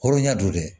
Hɔrɔnya don dɛ